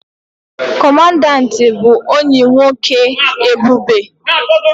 Kọmandanti bụ ọyị nwoke Ebube